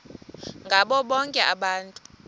ngabo bonke abantu